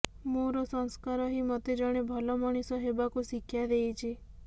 ମୋର ସଂସ୍କାର ହିଁ ମୋତେ ଜଣେ ଭଲ ମଣିଷ ହେବାକୁ ଶିକ୍ଷା ଦେଇଛି